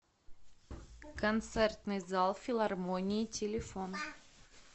концертный зал филармонии телефон